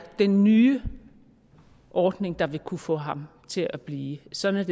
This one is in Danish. den nye ordning der vil kunne få ham til at blive sådan er